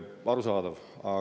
Arusaadav!